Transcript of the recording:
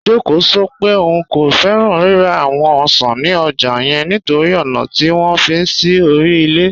Jọ́kẹ́ sọ̀ pẹ̀ ọún kò fẹ́ran rírà awọn ọ̀ṣan ni ọ́jà yẹn nítorí ọna tí wọn fi sí orí ilẹ̀.